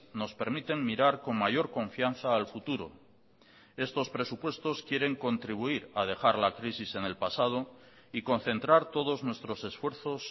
nos permiten mirar con mayor confianza al futuro estos presupuestos quieren contribuir a dejar la crisis en el pasado y concentrar todos nuestros esfuerzos